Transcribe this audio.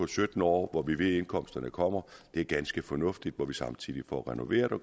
sytten år hvor vi ved at indkomsterne kommer er ganske fornuftigt når vi samtidig får renoveret og